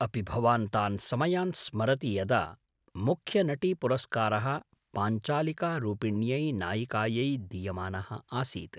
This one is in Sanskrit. अपि भवान् तान् समयान् स्मरति यदा मुख्यनटीपुरस्कारः पाञ्चालिकारूपिण्यै नायिकायै दीयमानः आसीत्?